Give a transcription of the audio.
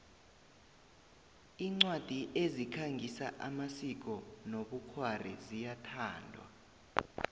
incwadi ezikhangisa amasiko nobkhwari ziyathandwa